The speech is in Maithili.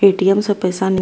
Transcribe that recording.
ए.टी.एम. से पैसा --